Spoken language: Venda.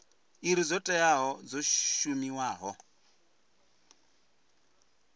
iri dzo teaho dzo shumiwaho